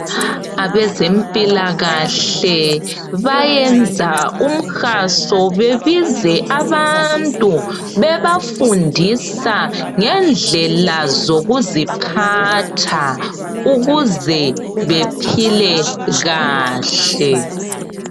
Abezempilakahle bayenza umhaso bebize abantu bebafundisa ngendlela zokuziphatha, ukuze baphile kahle.